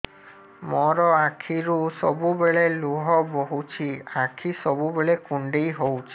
ମୋର ଆଖିରୁ ସବୁବେଳେ ଲୁହ ବୋହୁଛି ଆଖି ସବୁବେଳେ କୁଣ୍ଡେଇ ହଉଚି